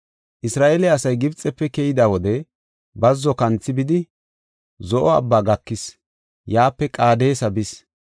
Isra7eele asay Gibxefe keyida wode bazzo kanthi bidi, Zo7o Abbaa gakis; yaape Qaadesa bis.